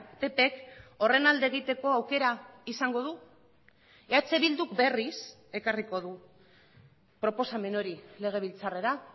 ppk horren alde egiteko aukera izango du eh bilduk berriz ekarriko du proposamen hori legebiltzarrera